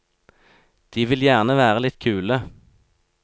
De vil gjerne være litt kule.